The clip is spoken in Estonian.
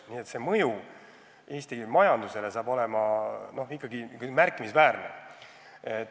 Nii et mõju Eesti majandusele saab olema ikkagi märkimisväärne.